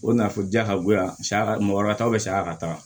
O nafolo diya ka bon yan saya ka mɔgɔ ka taa saya ka taa